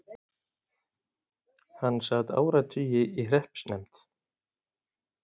Hann sat áratugi í hreppsnefnd.